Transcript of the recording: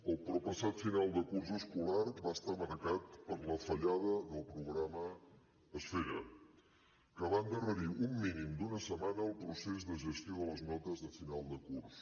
el proppassat final de curs escolar va estar marcat per la fallada del programa esfera que va endarrerir un mínim d’una setmana el procés de gestió de les notes de final de curs